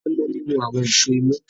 Tola mú nínú àwọn Èṣó imú.